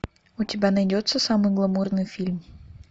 у тебя найдется самый гламурный фильм